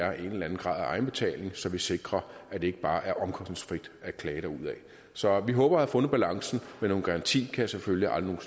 er en eller anden grad af egenbetaling så vi sikrer at det ikke bare er omkostningsfrit at klage derudaf så vi håber at have fundet balancen men nogen garanti kan jeg selvfølgelig aldrig